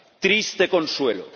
Triste consuelo.